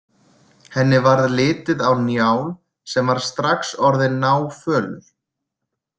Henni varð litið á Njál sem var strax orðinn náfölur.